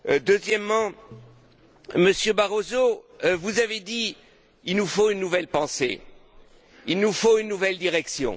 Deuxièmement, Monsieur Barroso, vous avez dit Il nous faut une nouvelle pensée, il nous faut une nouvelle direction.